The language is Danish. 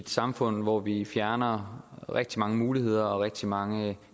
samfund hvor vi fjerner rigtig mange muligheder og rigtig mange